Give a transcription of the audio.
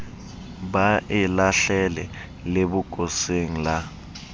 ba e lahlele lebokoseng la